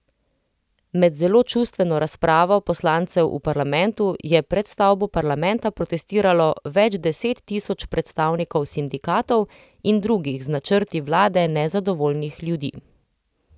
Med zelo čustveno razpravo poslancev v parlamentu je pred stavbo parlamenta protestiralo več deset tisoč predstavnikov sindikatov in drugih z načrti vlade nezadovoljnih ljudi.